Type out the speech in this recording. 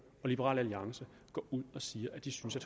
og liberal alliance går ud og siger at de synes at